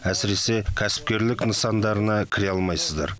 әсіресе кәсіпкерлік нысандарына кіре алмайсыздар